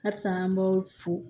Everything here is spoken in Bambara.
Halisa an b'aw fo